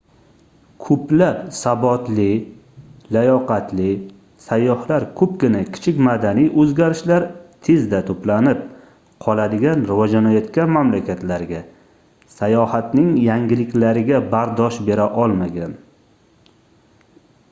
koʻplab sabotli layoqatli sayyohlar koʻpgina kichik madaniy oʻzgarishlar tezda toʻplanib qoladigan rivojlanayotgan mamlakatlarga sayohatning yangiliklariga bardosh bera olmagan